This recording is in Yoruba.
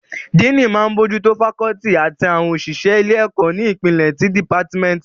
Díìnì máa n bójú tó fakọ́ọ́tì àti àwọn òṣìṣẹ́ ilé-ẹ̀kọ́ ní ìpele ti dìpátímẹ́ǹtì